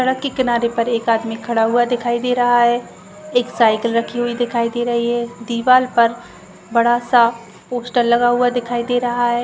सड़क के किनारे पर एक आदमी खड़ा हुआ दिखाई दे रहा है एक साइकिल रखी हुई दिखाई दे रही हैदीवार पर बड़ा सा पोस्टर लगा हुआ दिखायी दे रहा है।